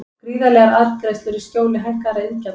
Gríðarlegar arðgreiðslur í skjóli hækkaðra iðgjalda